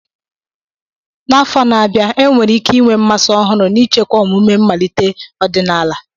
N'afọ na-abịa, enwere ike inwe mmasị ọhụrụ n'ichekwa omume mmalite ọdịnala.